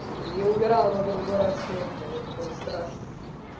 я умирала грубо говоря от смеха это было страшно